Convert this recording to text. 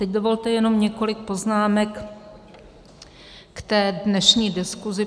Teď dovolte jenom několik poznámek k té dnešní diskuzi.